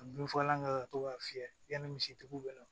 Ka bin fagalan kɛ ka to k'a fiyɛ yani misi tigiw bɛ na